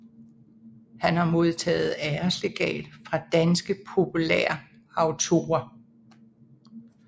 Han har modtaget æreslegat fra Danske Populærautorer